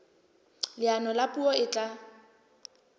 leano la puo e tla